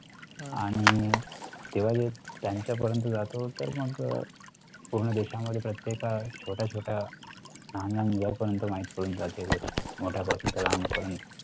आणि तेव्हा त्यांच्या पर्यंत जातो तर मग पूर्ण देशा मध्ये प्रत्येक छोटय़ा छोटय़ा लहान लहान मुलांनपर्यंत माहिती पडून जाते. मोठ्या पासून तर लहान पर्यंत.